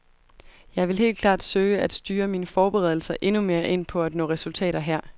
Jeg vil helt klart søge at styre mine forberedelser endnu mere ind på at nå resultater her.